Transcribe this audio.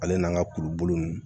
Ale n'an ka kuruboli nunnu